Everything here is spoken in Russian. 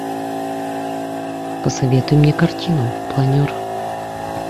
посоветуй мне картину планер